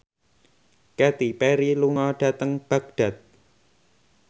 Katy Perry lunga dhateng Baghdad